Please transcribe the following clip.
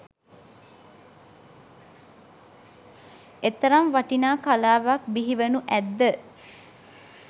එතරම් වටිනා කලාවක් බිහි වනු ඇත්ද?